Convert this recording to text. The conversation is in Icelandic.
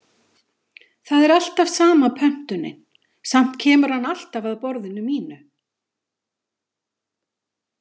Það er alltaf sama pöntunin, samt kemur hann hann alltaf að borðinu mínu.